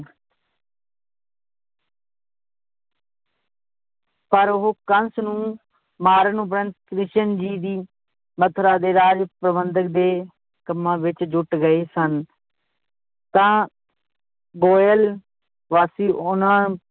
ਪਰ ਉਹ ਕੰਸ ਨੂੰ ਮਾਰਨ ਉਪਰੰਤ ਕ੍ਰਿਸ਼ਨ ਜੀ ਦੀ ਮਥੁਰਾ ਦੇ ਰਾਜ ਪ੍ਰਬੰਧਕ ਦੇ ਕੰਮਾਂ ਵਿਚ ਜੁੱਟ ਗਏ ਸਨ ਤਾਂ ਗੋਇਲ ਵਾਸੀ ਉਹਨਾਂ